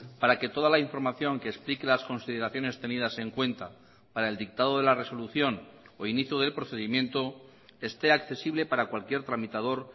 para que toda la información que explique las consideraciones tenidas en cuenta para el dictado de la resolución o inicio del procedimiento esté accesible para cualquier tramitador